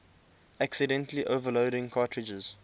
accidentally overloading cartridges